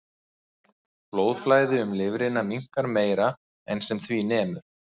Blóðflæði um lifrina minnkar meira en sem því nemur.